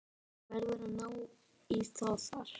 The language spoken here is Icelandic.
Þú verður að ná í þá þar.